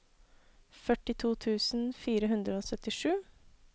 førtito tusen fire hundre og syttisju